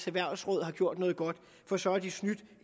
erhvervsråd har gjort noget godt for så har de snydt